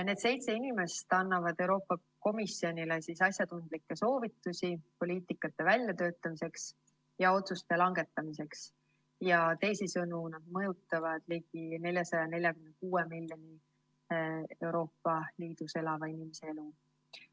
Need seitse inimest annavad Euroopa Komisjonile asjatundlikke soovitusi poliitikasuundade väljatöötamiseks ja otsuste langetamiseks, teisisõnu, nad mõjutavad ligikaudu 446 miljoni Euroopa Liidus elava inimese elu.